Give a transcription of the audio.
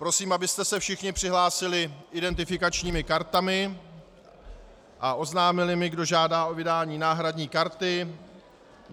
Prosím, abyste se všichni přihlásili identifikačními kartami a oznámili mi, kdo žádá o vydání náhradní karty.